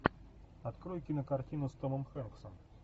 открой кинокартину с томом хэнксом